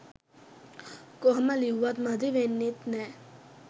කොහොම ලිව්වත් මදි වෙන්නෙත් නෑ